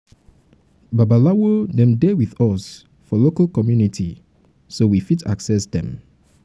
babalawo dem dey with us for um us for um local community um so we fit access um dem